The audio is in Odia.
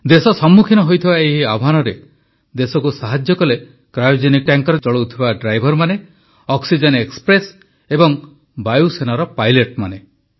ଦେଶ ସମ୍ମୁଖୀନ ହୋଇଥିବା ଏହି ଆହ୍ୱାନରେ ଦେଶକୁ ସାହାଯ୍ୟ କଲେ କ୍ରାୟୋଜେନିକ୍ ଟ୍ୟାଙ୍କର ଚଳାଉଥିବା ଡ୍ରାଇଭରମାନେ ଅକ୍ସିଜେନ ଏକ୍ସପ୍ରେସ୍ ଏବଂ ବାୟୁସେନାର ପାଇଲଟ୍ ମାନେ